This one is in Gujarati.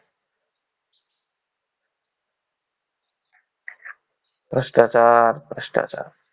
ભ્રષ્ટાચાર ભ્રષ્ટાચાર.